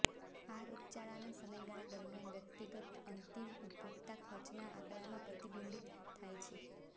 આ રોગચાળાના સમયગાળા દરમિયાન વ્યક્તિગત અંતિમ ઉપભોગતા ખર્ચના આંકડામાં પ્રતિબિંબિત થાય છે